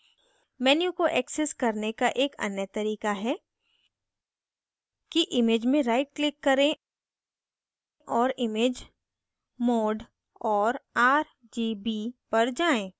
menu को access करने एक अन्य तरीका है कि image में right click करें और image mode और rgb पर जाएँ